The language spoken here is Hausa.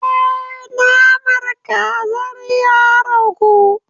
Eh naman kazar ya ragu.